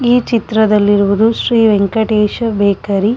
ಈ ಚಿತ್ರದಲ್ ಇರುವುದು ಶ್ರೀ ವೆಂಕಟೇಶ ಬೇಕರಿ .